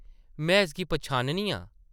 में इसगी पनछाननी आं ।